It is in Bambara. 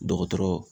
Dɔgɔtɔrɔ